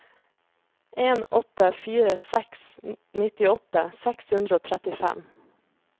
en åtte fire seks nittiåtte seks hundre og trettifem